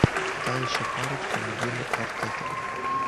та еще парочка мигеля артета